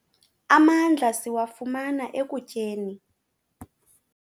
Amandla siwafumana ekutyeni.